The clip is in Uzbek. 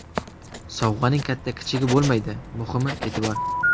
Sovg‘aning katta-kichigi bo‘lmaydi, muhimi e’tibor.